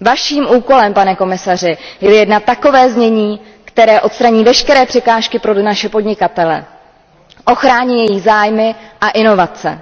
Vaším úkolem, pan komisaři, je vyjednat takové znění, které odstraní veškeré překážky pro naše podnikatele, ochrání jejich zájmy a inovace,